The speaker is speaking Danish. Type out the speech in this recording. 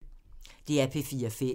DR P4 Fælles